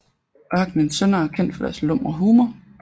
Ørkenens Sønners er kendt for deres lumre humor